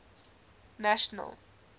national